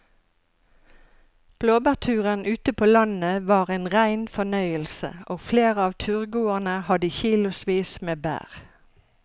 Blåbærturen ute på landet var en rein fornøyelse og flere av turgåerene hadde kilosvis med bær.